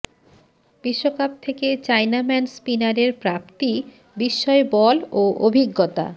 বিশ্বকাপ থেকে চায়নাম্যান স্পিনারের প্রাপ্তি বিস্ময় বল ও অভিজ্ঞতা